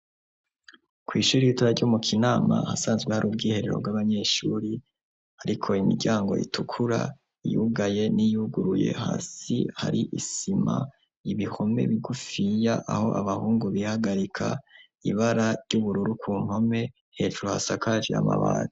Kw'ishuri ritoya ry'umu kinama hasanzwe hari ubwiherero bw'abanyeshuri ariko imiryango itukura iyugaye n'iyuguruye hasi hari isima ibihome bigufiya aho abahungu bihagarika, ibara ry'ubururu ku nkome hejuru hasakaje amabati.